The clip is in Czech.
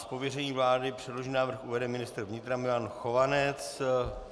Z pověření vlády předložený návrh uvede ministr vnitra Milan Chovanec.